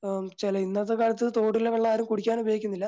അഹ് ചില ഇന്നത്തെ കാലത്ത് തോട്ടിലെ വെള്ളം ആരും കുടിക്കാൻ ഉപയോഗിക്കുന്നില്ല.